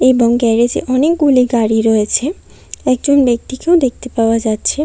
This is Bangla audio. এবং গ্যারেজ -এ অনেকগুলি গাড়ি রয়েছে। একজন ব্যক্তিকেও দেখতে পাওয়া যাচ্ছে।